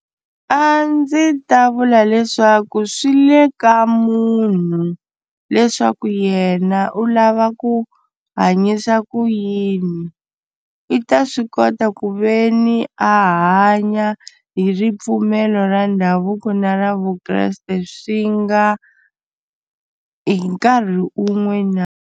A ndzi ta vula leswaku swi le ka munhu leswaku yena u lava ku hanyisa ku yini i ta swi kota ku ve ni a hanya hi ripfumelo ra ndhavuko na ra vukreste swi nga hi nkarhi u n'we na.